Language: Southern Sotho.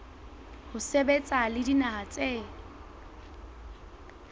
ho sebetsa le dinaha tse